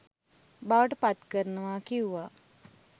බවට පත්කරනවා කිව්වා.